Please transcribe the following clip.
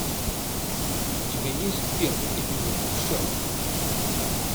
у тебя есть первый эпизод шерлок